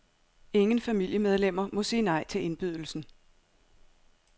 Ingen familiemedlemmer må sige nej til indbydelsen.